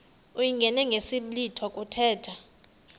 uyingene ngesiblwitha kuthethwa